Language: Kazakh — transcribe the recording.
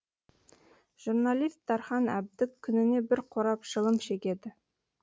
журналист дархан әбдік күніне бір қорап шылым шегеді